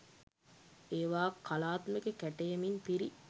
ඒවා කලාත්මක කැටයමින් පිරි